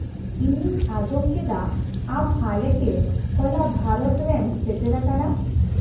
-ᱤᱧᱤᱧ ᱟᱸᱡᱚᱢ ᱠᱮᱫᱟ ᱟᱢ ᱦᱟᱞᱮᱜᱮ ᱦᱚᱞᱟ ᱵᱷᱟᱨᱚᱛᱨᱮᱢ ᱥᱮᱴᱮᱨ ᱟᱠᱟᱱᱟ ᱾